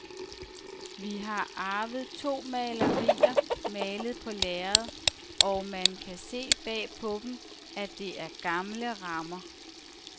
Vi har arvet to malerier malet på lærred, og man kan se bag på dem, at det er gamle rammer.